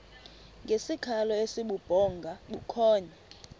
ngesikhalo esibubhonga bukhonya